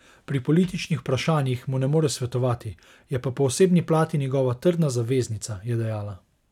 Pri političnih vprašanjih mu ne more svetovati, je pa po osebni plati njegova trdna zaveznica, je dejala.